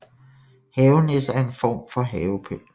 Havenisser er en form for havepynt